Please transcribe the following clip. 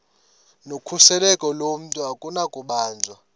nokhuseleko lomntu akunakubanjwa